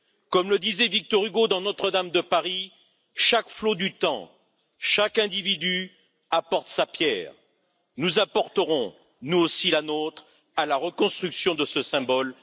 Comme le disait Victor Hugo dans Notre Dame de Paris chaque flot du temps, chaque individu apporte sa pierre. Nous apporterons nous aussi la nôtre à la reconstruction de ce symbole.